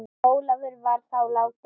Ólafur var þá látinn.